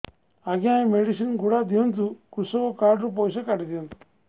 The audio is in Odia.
ଆଜ୍ଞା ଏ ମେଡିସିନ ଗୁଡା ଦିଅନ୍ତୁ କୃଷକ କାର୍ଡ ରୁ ପଇସା କାଟିଦିଅନ୍ତୁ